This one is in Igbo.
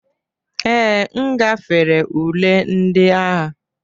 Ee, m gafere ule ndị agha.